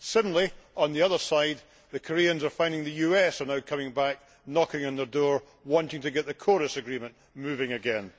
Suddenly, on the other side, the Koreans are finding the US is now coming back, knocking on their door, wanting to get the KORUS agreement moving again.